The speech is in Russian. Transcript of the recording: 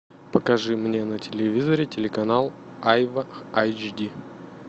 покажи мне на телевизоре телеканал айва айч ди